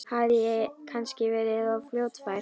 Hafði ég kannski verið of fljótfær?